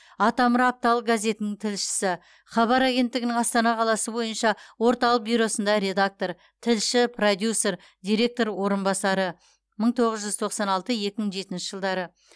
атамұра апталық газетінің тілшісі хабар агенттігінің астана қаласы бойынша орталық бюросында редактор тілші продюсер директор орынбасары мың тоғыз жүз тоқсан алты екі мың жетінші жылдары